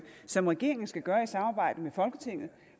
som regeringen skal gøre i samarbejde med folketinget